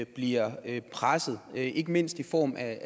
bliver presset ikke mindst i form af